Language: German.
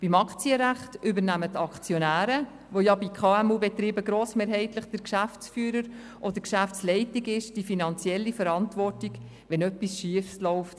Bei Aktiengesellschaften übernehmen die Aktionäre, die bei KMU-Betrieben meistens gleichzeitig die GL sind, die finanzielle Verantwortung, wenn etwas schiefläuft.